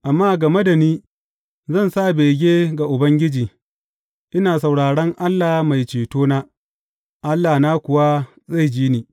Amma game da ni, zan sa bege ga Ubangiji, ina sauraron Allah Mai Cetona; Allahna kuwa zai ji ni.